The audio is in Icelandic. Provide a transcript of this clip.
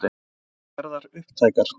Þær voru gerðar upptækar